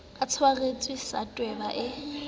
a tsweretse sa tweba e